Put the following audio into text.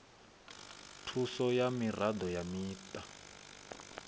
thuso ya miraḓo ya muṱa